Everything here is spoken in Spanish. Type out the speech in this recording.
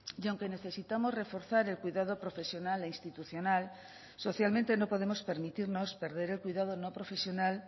y aunque necesitamos reforzar el cuidado profesional e institucional socialmente no podemos permitirnos perder el cuidado no profesional